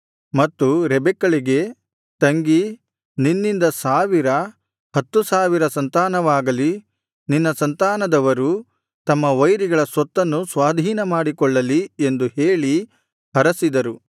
ಮತ್ತು ರೆಬೆಕ್ಕಳಿಗೆ ತಂಗಿ ನಿನ್ನಿಂದ ಸಾವಿರ ಹತ್ತು ಸಾವಿರ ಸಂತಾನವಾಗಲಿ ನಿನ್ನ ಸಂತಾನದವರು ತಮ್ಮ ವೈರಿಗಳ ಸ್ವತ್ತನ್ನು ಸ್ವಾಧೀನಮಾಡಿಕೊಳ್ಳಲಿ ಎಂದು ಹೇಳಿ ಹರಸಿದರು